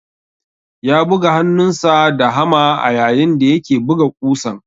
Ya buga hannunsa da hama ayayin da yake buga ƙusan.